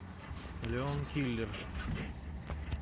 леон киллер